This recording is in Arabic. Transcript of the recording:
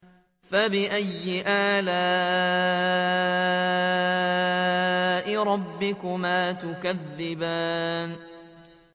فَبِأَيِّ آلَاءِ رَبِّكُمَا تُكَذِّبَانِ